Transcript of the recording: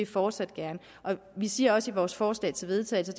fortsat gerne vi siger også i vores forslag til vedtagelse